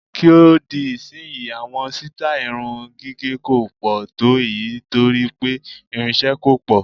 Kí ó di ìsìnyí, àwọn sítáì irun gígẹ̀ kò pọ̀ tó èyí torí pé ìrinṣẹ́ kò pọ̀.